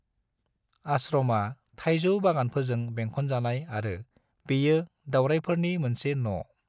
आश्रमा थायजौ बागानफोरजों बेंखन जानाय आरो बेयो दावरायफोरनि मोनसे न'।